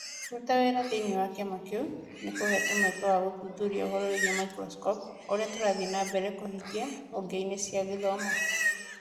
Kũruta wĩra thĩinĩ wa kĩama kĩu nĩ kũheete mweke wa gũthuthuria ũhoro wĩgiĩ microscopy o ũrĩa tũrathiĩ na mbere kũhingia honge-inĩ cia gĩthomo